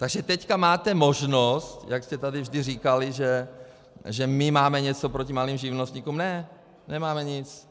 Takže teď máte možnost, jak jste tady vždy říkali, že my máme něco proti malým živnostníkům - ne, nemáme nic.